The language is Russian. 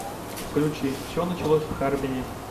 включи все началось в харбине